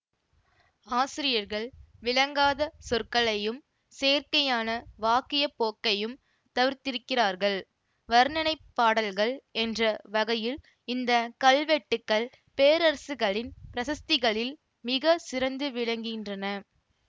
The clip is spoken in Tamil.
ஆசிரியர்கள் விளங்காத சொற்களையும் செயற்கையான வாக்கியப் போக்கையும் தவிர்த்திருக்கிறார்கள் வருணனைப் பாடல்கள் என்ற வகையில் இந்த கல்வெட்டுக்கள் பேரரசுகளின் பிரசஸ்திகளில் மிக சிறந்து விளங்குகின்றன